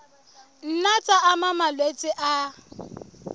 nna tsa ama malwetse a